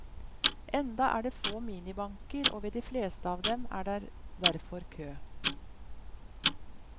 Enda er det få minibanker og ved de fleste av dem er der derfor kø.